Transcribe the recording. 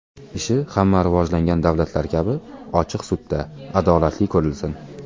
Ishi hamma rivojlangan davlatlar kabi ochiq sudda adolatli ko‘rilsin.